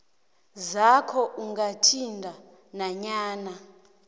zakho ungathinti nanyana